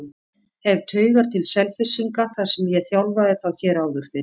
Hef taugar til Selfyssinga þar sem ég þjálfaði þá hér áður fyrr.